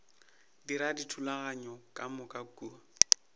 dira dithulaganyo ka moka kua